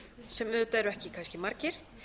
sem auðvitað eru ekki kannski margir